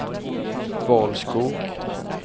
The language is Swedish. Valskog